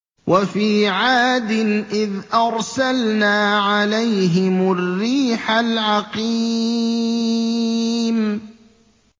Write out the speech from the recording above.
وَفِي عَادٍ إِذْ أَرْسَلْنَا عَلَيْهِمُ الرِّيحَ الْعَقِيمَ